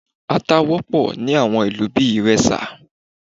À̀ta wọ́pọ̀ ni àwọn ìlú bíi Ìrẹsà